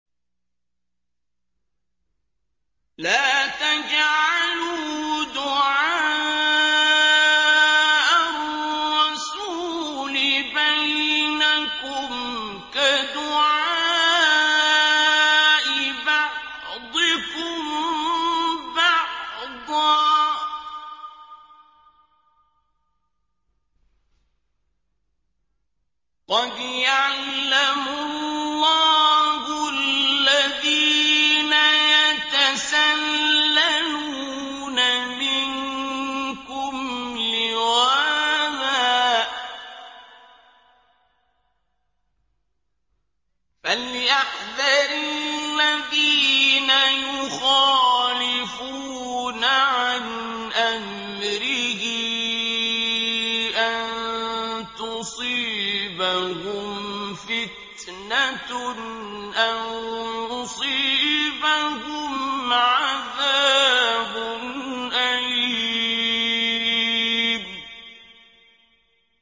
لَّا تَجْعَلُوا دُعَاءَ الرَّسُولِ بَيْنَكُمْ كَدُعَاءِ بَعْضِكُم بَعْضًا ۚ قَدْ يَعْلَمُ اللَّهُ الَّذِينَ يَتَسَلَّلُونَ مِنكُمْ لِوَاذًا ۚ فَلْيَحْذَرِ الَّذِينَ يُخَالِفُونَ عَنْ أَمْرِهِ أَن تُصِيبَهُمْ فِتْنَةٌ أَوْ يُصِيبَهُمْ عَذَابٌ أَلِيمٌ